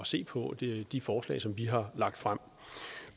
se på de de forslag som vi har lagt frem